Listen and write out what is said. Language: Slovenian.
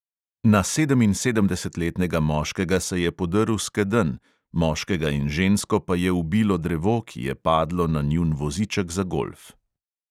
Na sedeminsedemdesetletnega moškega se je podrl skedenj, moškega in žensko pa je ubilo drevo, ki je padlo na njun voziček za golf.